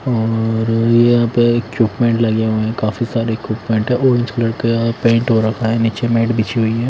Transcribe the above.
और यहां पे इक्विपमेंट लगे हुए हैं काफी सारे इक्विपमेंट है आरेंज कलर का पेंट हो रखा है नीचे मैट बिछी हुई है।